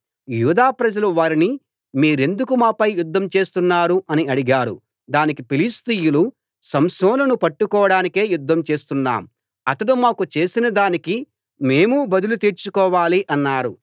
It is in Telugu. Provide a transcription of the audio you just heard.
యూదాప్రజలు వారిని మీరెందుకు మాపై యుద్ధం చేస్తున్నారు అని అడిగారు దానికి ఫిలిష్తీయులు సంసోనును పట్టుకోడానికే యుద్ధం చేస్తున్నాం అతడు మాకు చేసినదానికి మేమూ బదులు తీర్చుకోవాలి అన్నారు